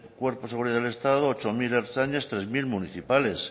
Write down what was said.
cuerpos de seguridad del estado ocho mil ertzainas tres mil municipales